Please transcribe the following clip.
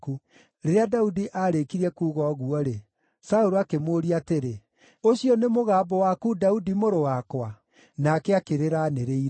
Rĩrĩa Daudi aarĩkirie kuuga ũguo-rĩ, Saũlũ akĩmũũria atĩrĩ, “Ũcio nĩ mũgambo waku, Daudi mũrũ wakwa?” Nake akĩrĩra aanĩrĩire.